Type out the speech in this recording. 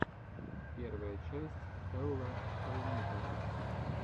первая часть хелла хэллнитера